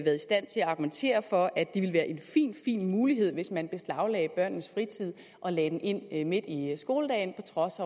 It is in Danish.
argumentere for at det ville være en fin fin mulighed hvis man beslaglagde børnenes fritid og lagde den ind ind midt i skoledagen på trods